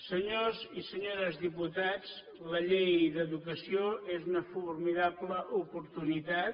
senyors i senyores diputats la llei d’educació és una formidable oportunitat